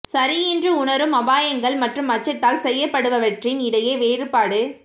சரி என்று உணரும் அபாயங்கள் மற்றும் அச்சத்தால் செய்யப்படுபவற்றின் இடையே வேறுபாடு